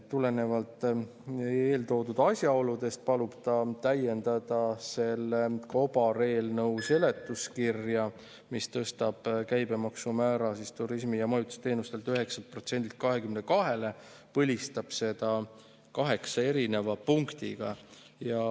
" Tulenevalt eeltoodud asjaoludest palub ta täiendada selle kobareelnõu seletuskirja, mis tõstab turismi- ja majutusteenuste käibemaksumäära 9%-lt 22%-le ja põlistab seda kaheksa erineva punktiga.